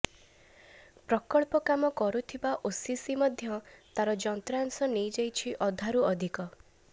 ପ୍ରକଳ୍ପ କାମ କରୁଥିବା ଓସିସି ମଧ୍ୟ ତାର ଯନ୍ତ୍ରାଂଶ ନେଇଯାଇଛି ଅଧାରୁ ଅଧିକ